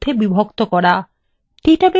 database নকশা আসলে কি